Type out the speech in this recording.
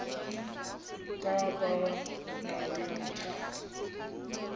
ba ba nang le mathata